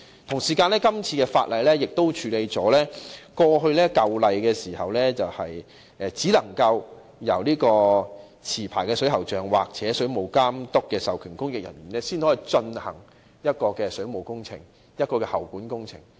《條例草案》亦處理了現行條例中，只能由持牌水喉匠或水務監督的授權供應人員進行水務工程及喉管工程的情況。